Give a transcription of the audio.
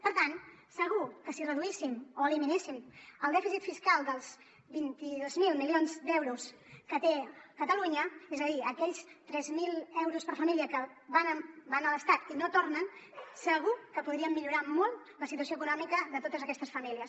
per tant segur que si reduíssim o eliminessin el dèficit fiscal dels vint dos mil milions d’euros que té catalunya és a dir aquells tres mil euros per família que van a l’estat i no tornen segur que podrien millorar molt la situació econòmica de totes aquestes famílies